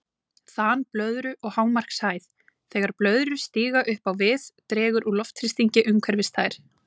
Þan blöðru og hámarkshæð Þegar blöðrur stíga upp á við dregur úr loftþrýstingi umhverfis þær.